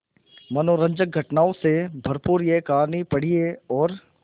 मनोरंजक घटनाओं से भरपूर यह कहानी पढ़िए और